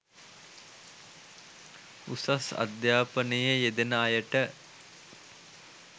උසස් අධ්‍යාපනයේ යෙදෙන අයට